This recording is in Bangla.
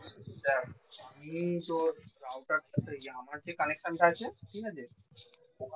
দেখ আমি তোর browser টা তে আমার যে connection টা আছে ঠিক আছে